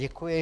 Děkuji.